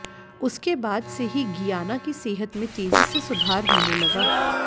उसके बाद से ही गियाना की सेहत में तेजी से सुधार होने लगा